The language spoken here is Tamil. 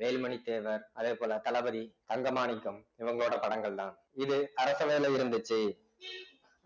வேலுமணி தேவர் அதேபோல தளபதி தங்க மாணிக்கம் இவங்களோட படங்கள்தான் இது அரச வேலை இருந்துச்சு